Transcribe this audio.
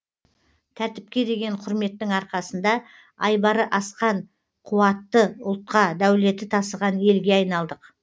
тәртіпке деген құрметтің арқасында айбары асқан қуатты ұлтқа дәулеті тасыған елге айналдық